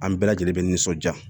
An bɛɛ lajɛlen bɛ nisɔnjaa